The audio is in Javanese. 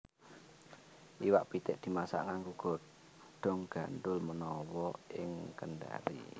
Iwak pitik dimasak nganggo godhong gandhul menawa ing Kendari